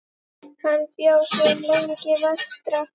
Hann bjó svo lengi vestra.